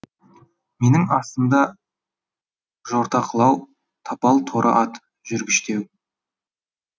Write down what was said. менің астымда жортақылау тапал торы ат жүргіштеу